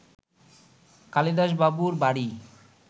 কালিদাসবাবুর বাড়ি